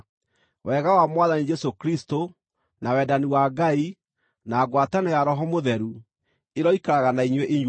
Wega wa Mwathani Jesũ Kristũ, na wendani wa Ngai, na ngwatanĩro ya Roho Mũtheru, ĩroikaraga na inyuĩ inyuothe.